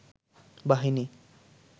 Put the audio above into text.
বাহিনী